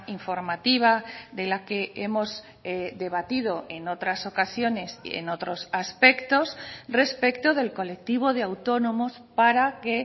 informativa de la que hemos debatido en otras ocasiones en otros aspectos respecto del colectivo de autónomos para que